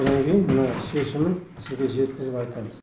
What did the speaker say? содан кейін мына шешімін сізге жеткізіп айтамыз